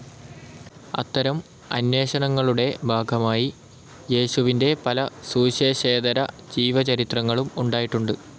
അത്തരം അന്വേഷണങ്ങളുടെ ഭാഗമായി യേശുവിൻ്റെ പല സുവിശേഷേതര ജീവചരിത്രങ്ങളും ഉണ്ടായിട്ടുണ്ട്.